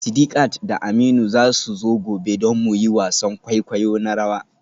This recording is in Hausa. Sidiqat da Aminu za su zo gobe don mu yi wasan kwaikwayo na rawa.